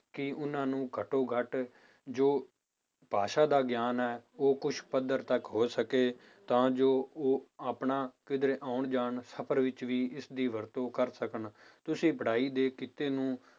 ਕਿ ਉਹਨਾਂ ਨੂੰ ਘੱਟੋ ਘੱਟ ਜੋ ਭਾਸ਼ਾ ਦਾ ਗਿਆਨ ਹੈ ਉਹ ਕੁਛ ਪੱਧਰ ਤੱਕ ਹੋ ਸਕੇ ਤਾਂ ਜੋ ਉਹ ਆਪਣਾ ਕਿਤੇ ਆਉਣ ਜਾਣ ਸਫ਼ਰ ਵਿੱਚ ਵੀ ਇਸਦੀ ਵਰਤੋਂ ਕਰ ਸਕਣ, ਤੁਸੀਂ ਪੜ੍ਹਾਈ ਦੇ ਕਿੱਤੇ ਨੂੰ